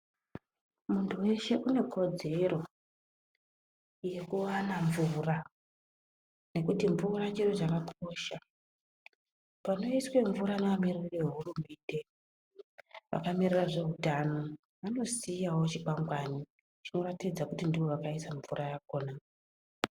Muntu weshe une kodzero yekuwana mvura nekuti mvura chiro chakakosha. Panoiswe mvura nevamiririri vehurumende vakamirira zveutano, vanosiyawo chikwangwani chinoratidza kuti ndovakaisa mvura yakhona.